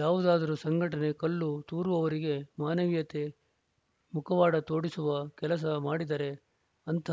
ಯಾವುದಾದರೂ ಸಂಘಟನೆ ಕಲ್ಲು ತೂರುವವರಿಗೆ ಮಾನವೀಯತೆ ಮುಖವಾಡ ತೊಡಿಸುವ ಕೆಲಸ ಮಾಡಿದರೆ ಅಂಥ